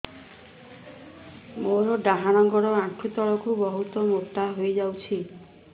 ମୋର ଡାହାଣ ଗୋଡ଼ ଆଣ୍ଠୁ ତଳକୁ ବହୁତ ମୋଟା ହେଇଯାଉଛି